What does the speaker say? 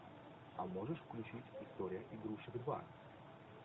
а можешь включить история игрушек два